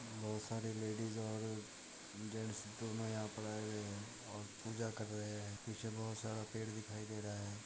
बहुत सारे लेडिज और जेंट्स दोनों यहाँ पर आये हुए हैं और पूजा कर रहे हैं पीछे बहुत सारे पेड़ दिखाई दे रहे हैं।